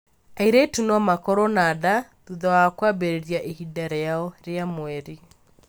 Airĩtu no makorũo na nda thutha wa kwambĩrĩria ihinda rĩao rĩa mweri.